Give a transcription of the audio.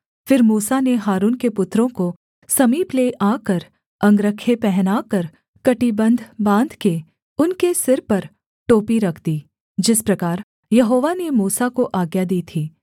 फिर मूसा ने हारून के पुत्रों को समीप ले आकर अंगरखे पहनाकर कमरबन्ध बाँध के उनके सिर पर टोपी रख दी जिस प्रकार यहोवा ने मूसा को आज्ञा दी थी